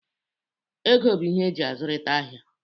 Ego bụ ihe eji azụrịta ahia.